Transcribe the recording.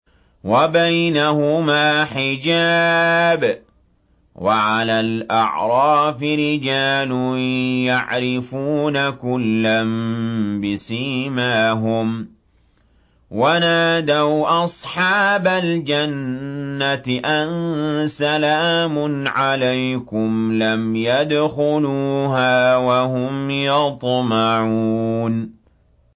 وَبَيْنَهُمَا حِجَابٌ ۚ وَعَلَى الْأَعْرَافِ رِجَالٌ يَعْرِفُونَ كُلًّا بِسِيمَاهُمْ ۚ وَنَادَوْا أَصْحَابَ الْجَنَّةِ أَن سَلَامٌ عَلَيْكُمْ ۚ لَمْ يَدْخُلُوهَا وَهُمْ يَطْمَعُونَ